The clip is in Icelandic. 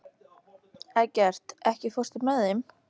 Eggert, ekki fórstu með þeim?